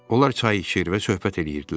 Onlar çay içir və söhbət eləyirdilər.